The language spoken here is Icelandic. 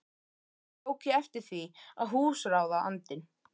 Eitt sinn tók ég eftir því að húsráðandinn